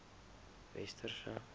westerse